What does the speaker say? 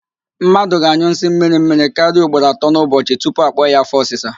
Mmadụ ga-anyụ nsị mmirimmiri karịa ugboro atọ n'ụbọchị tupu akpọ ya afọ ọsịsa